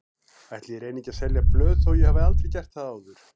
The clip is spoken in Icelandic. Ætli ég reyni ekki að selja blöð þó ég hafi aldrei gert það áður.